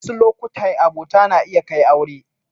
Wasu lokatai abota na iya kai aure.